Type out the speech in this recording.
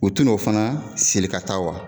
U tu n'o fana siri ka taa wa?